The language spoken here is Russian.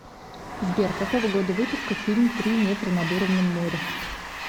сбер какого года выпуска фильм три метра над уровнем моря